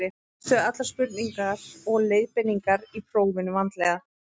lestu allar spurningar og leiðbeiningar í prófinu vandlega